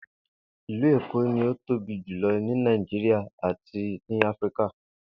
Ìlú Èkó ni ìlú tí ó tóbi jùlo̩ ní Nàìjíríà àti ní Áfíríkà